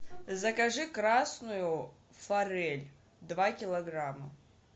закажи красную форель два килограмма